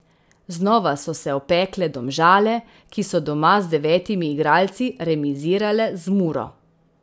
Znova so se opekle Domžale, ki so doma z devetimi igralci remizirale z Muro.